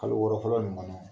Kalo wɔɔrɔ fɔlɔ nin kɔnɔ.